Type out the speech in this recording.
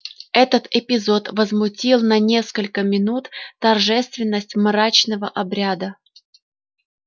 этот эпизод возмутил на несколько минут торжественность мрачного обряда